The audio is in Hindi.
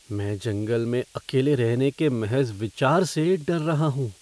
मैं जंगल में अकेले रहने के महज विचार से डर रहा हूँ।